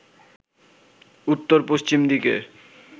উত্তর-পশ্চিম দিকে